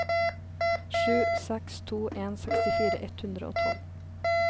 sju seks to en sekstifire ett hundre og tolv